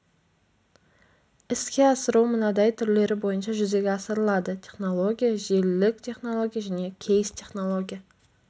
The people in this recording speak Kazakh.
іске асыру мынадай түрлері бойынша жүзеге асырылады технология желілік технология және кейс-технология